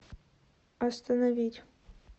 остановить